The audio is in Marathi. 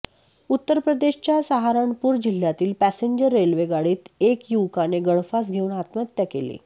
उत्तरप्रदेशच्या सहारनपूर जिल्ह्यातील पॅसेंजर रेल्वे गाडीत एक युवकाने गळफास घेऊन आत्महत्या केली